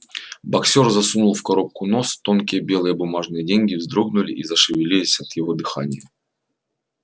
боксёр засунул в коробку нос тонкие белые бумажные деньги вздрогнули и зашевелились от его дыхания